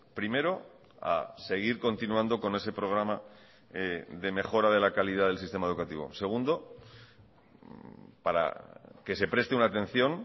primero a seguir continuando con ese programa de mejora de la calidad del sistema educativo segundo que se preste una atención